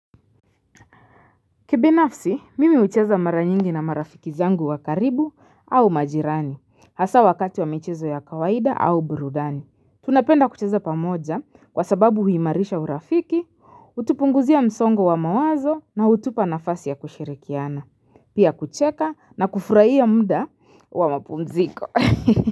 Kibinafsi, mimi hucheza mara nyingi na marafiki zangu wa karibu au majirani, hasa wakati wa michezo ya kawaida au burudani. Tunapenda kucheza pamoja kwa sababu huimarisha urafiki, hutupunguzia msongo wa mawazo na hutupa nafasi ya kushirikiana, pia kucheka na kufurahia muda wa mapumziko.